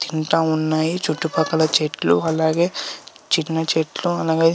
తింటా ఉన్నాయి.చుట్టు పక్కల చెట్లు ఉన్నాయి. చిన్న చెట్లు ఉన్నవి.